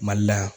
Mali la yan